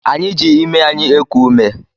Anyị ji imi anyị eku ume